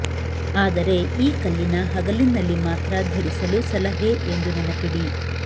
ಆದರೆ ಈ ಕಲ್ಲಿನ ಹಗಲಿನಲ್ಲಿ ಮಾತ್ರ ಧರಿಸಲು ಸಲಹೆ ಎಂದು ನೆನಪಿಡಿ